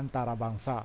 antarabangsa